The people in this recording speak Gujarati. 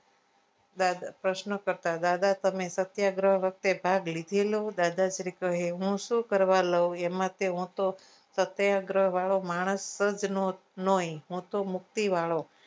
દાદા પ્રશ્નો કરતા દાદા સમય સત્યાગ્રહ વખતે ભાગ લીધેલો દાદાશ્રી કહે હું શું કરવા લઉં એમાં હૂતો સત્યાગ્રહ વાળો માણસ જ નોઈ હું તો મુક્તિ વાળો